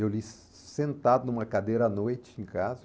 Eu li sentado numa cadeira à noite em casa.